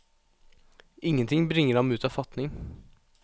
Ingenting bringer ham ut av fatning.